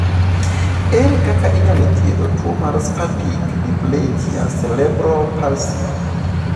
Ere kaka inyalo thiedh tuo mar spastic diplegia cerebral palsy?